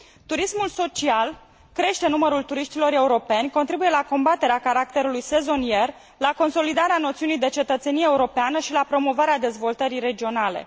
Turismul social crește numărul turiștilor europeni, contribuie la combaterea caracterului sezonier, la consolidarea noțiunii de cetățenie europeană și la promovarea dezvoltării regionale.